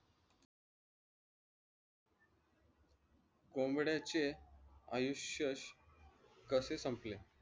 कोंबड्याचे आयुष्य कशे संपले?